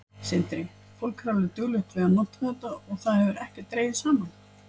Sindri: Fólk er alveg duglegt við að nota þetta og það hefur ekkert dregið saman?